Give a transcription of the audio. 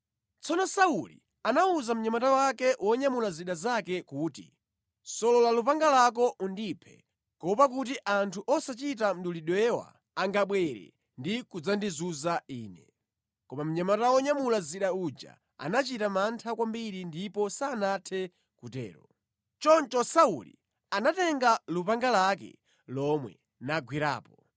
Tsono Sauli anawuza mnyamata wake wonyamula zida zake kuti, “Solola lupanga lako undiphe, kuopa kuti anthu osachita mdulidwewa angabwere ndi kudzandizunza ine.” Koma mnyamata wonyamula zida uja anachita mantha kwambiri ndipo sanathe kutero. Choncho Sauli anatenga lupanga lake lomwe nagwerapo.